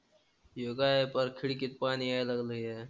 हे काय परत खिडकीत पाणी यायला लागलंय.